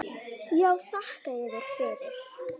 Já, þakka yður fyrir.